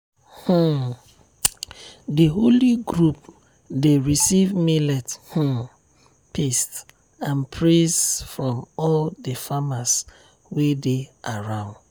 um the holy group dey receive millet um paste and praise from all the farmers wey dey around.